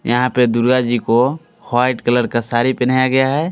यहां पे दुर्गा जी को व्हाइट कलर का साड़ी पेहनाया गया है।